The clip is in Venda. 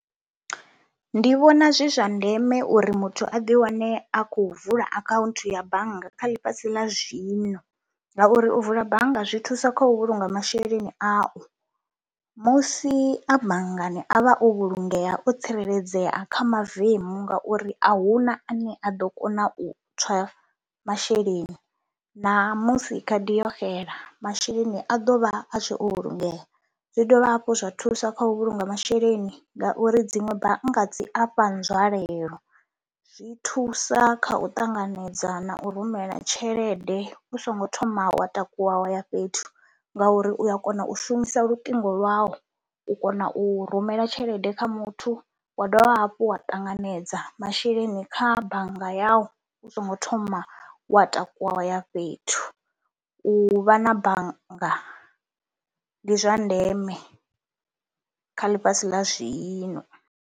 Ndi vhona zwi zwa ndeme uri muthu a ḓiwane a khou vula akhaunthu ya bannga kha ḽifhasi ḽa zwino ngauri u vula bannga zwi thusa kha u vhulunga masheleni au, musi a banngani a vha o vhulungeya, o tsireledzea kha mavemu ngauri a hu na ane a ḓo kona u tswa masheleni, namusi khadi yo xela masheleni a ḓo vha a tshe o vhulungeya. Zwi dovha hafhu zwa thusa kha u vhulunga masheleni ngauri dziṅwe bannga dzi a fha nzwalelo, zwi thusa kha u ṱanganedza na u rumela tshelede u songo thoma wa takuwa wa ya fhethu ngauri u ya kona u shumisa luṱingo lwau u kona u rumela tshelede kha muthu wa dovha hafhu wa ṱanganedza masheleni kha bannga yau u songo thoma wa takuwa wa ya fhethu. U vha na bannga ndi zwa ndeme kha ḽifhasi ḽa zwino.